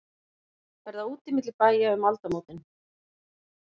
Verða úti milli bæja um aldamótin?